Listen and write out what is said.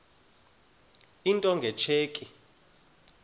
into nge tsheki